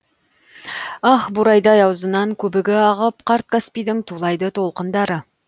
ах бурайдай аузынан көбігі ағып қарт каспийдің тулайды толқындары